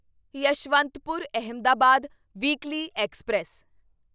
Yeshwantpur Ahmedabad weekly express